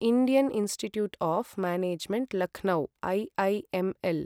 Indian institute of management Lucknow IIML